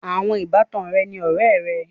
Àwọn ìbátan rẹ ni ọ̀rẹ̀ è rẹ.